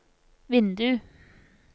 vindu